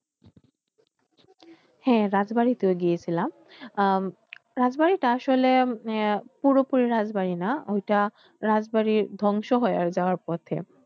হ্যাঁ রাজবাড়িতে গিয়েছিলাম আহ রাজবাড়িটা আসলে পুরোপুরি রাজবাড়ি না ওইটা রাজবাড়ি ধ্বংস হয়ে যাওয়ার পথে।